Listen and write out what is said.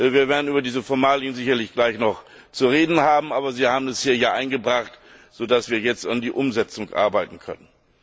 Wir werden über diese Formalien sicherlich gleich noch zu reden haben, aber Sie haben es ja hier eingebracht, so dass wir jetzt an der Umsetzung arbeiten können.